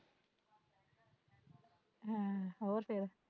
ਹਾਂ ਹੋਰ ਫੇਰ